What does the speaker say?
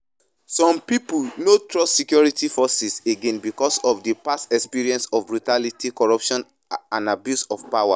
Some people no trust security forces again because of di past experiences of brutality, corruption and abuse of power.